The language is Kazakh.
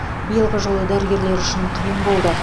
биылғы жыл дәрігерлер үшін қиын болды